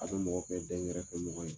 A bɛ mɔgɔ kɛ dɛnkɛrɛfɛmɔgɔ ye